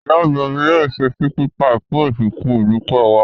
Ìyá àgbà mi yóò se chicken pie fún ìsìn ìdúpẹ́ wa.